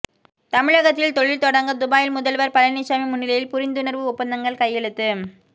தமிழகத்தில் தொழில் தொடங்க துபாயில் முதல்வர் பழனிசாமி முன்னிலையில் புரிந்துணர்வு ஒப்பந்தங்கள் கையெழுத்து